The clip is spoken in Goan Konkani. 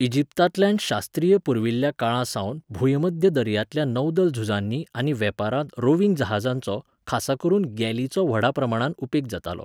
इजिप्तांतल्यान शास्त्रीय पुर्विल्ल्या काळासावन भूंयमध्य दर्यांतल्या नौदल झुजांनी आनी वेपारांत रोविंग जहाजांचो, खासा करून गॅलीचो व्हडा प्रमाणांत उपेग जातालो.